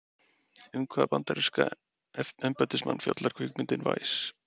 Um hvaða bandaríska embættismann fjallar kvikmyndin Vice?